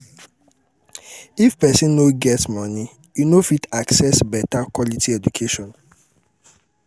if pesin no get money e no go fit access beta quality education